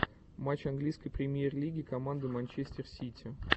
матч английской премьер лиги команды манчестер сити